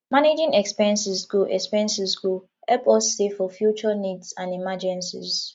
managing expenses go expenses go help us save for future needs and emergencies